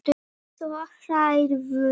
Svo hlærðu.